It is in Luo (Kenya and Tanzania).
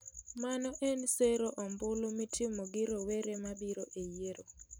Mano ensero ombulu mitimo gi rowere ma biro e yiero.